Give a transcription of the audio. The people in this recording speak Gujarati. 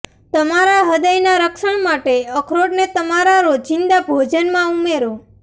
તમારા હ્રદય ના રક્ષણ માટે અખરોટ ને તમારા રોજીંદા ભોજન માં ઉમેરો